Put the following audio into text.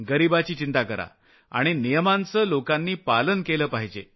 गरिबाची चिंता करा आणि नियमांचं लोकांनी पालन केलं पाहिजे